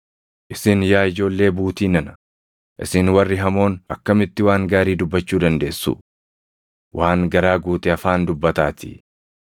Isin yaa ijoollee buutii nana, isin warri hamoon akkamitti waan gaarii dubbachuu dandeessu? Waan garaa guute afaan dubbataatii.